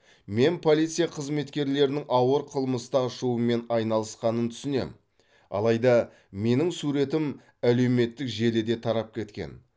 мен полиция қызметкерлерінің ауыр қылмысты ашумен айналысқанын түсінем алайда менің суретім әлеуметтік желіде тарап кеткен